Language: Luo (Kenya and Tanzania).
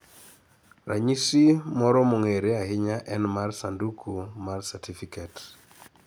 Ranyisi moro mong'ere ahinya en mar sanduku mar satifiket.